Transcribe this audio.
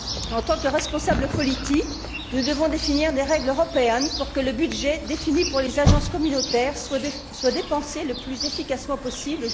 En tant que responsables politiques, nous devons définir des règles européennes pour que le budget défini pour les agences communautaires soit dépensé le plus efficacement possible.